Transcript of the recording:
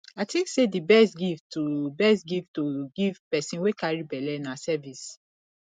i think sey di best gift to best gift to give pesin wey carry belle na service